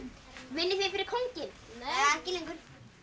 vinnið þið fyrir kónginn nei ekki lengur